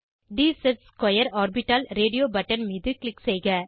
dz2 orbital radio button மீது click செய்க